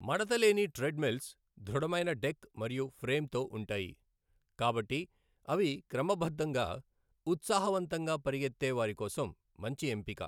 మడత లేని ట్రెడ్మిల్స్ దృఢమైన డెక్ మరియు ఫ్రేమ్‌తో ఉంటాయి, కాబట్టి అవి క్రమబద్ధంగా ఉత్సాహవంతంగా పరుగెత్తే వారి కోసం మంచి ఎంపిక.